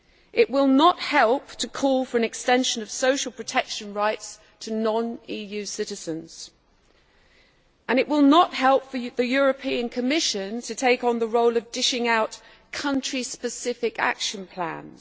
it will not help to call for an extension of social protection rights to non EU citizens and it will not help for the European Commission to take on the role of dishing out country specific action plans.